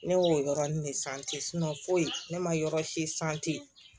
Ne y'o yɔrɔnin de foyi ne ma yɔrɔ si